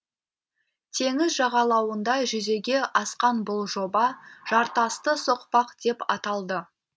теңіз жағалауында жүзеге асқан бұл жоба жартасты соқпақ деп аталды